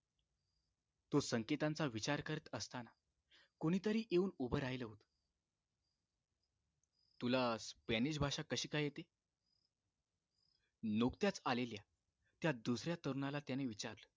तो संकेतांचा विचार करत असताना कुणीतरी येऊन उभं राहील होत तुला स्पॅनिश भाषा कशी काय येते नुकत्याच आलेल्या त्या दुसऱ्या तरुणाला त्याने विचारले